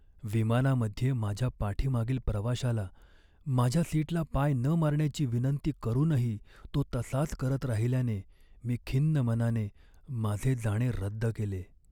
विमानामध्ये माझ्या पाठीमागील प्रवाशाला माझ्या सीटला पाय न मारण्याची विनंती करूनही तो तसाच करत राहिल्याने मी खिन्न मनाने माझे जाणे रद्द केले.